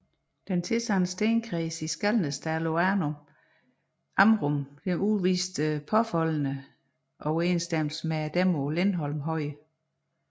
De tilsandede stenkredse i Skalnasdalen på Amrum udviste påfaldende overensstemmelser med dem på Lindholm Høje